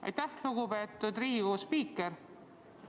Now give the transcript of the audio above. Aitäh, lugupeetud Riigikogu spiiker!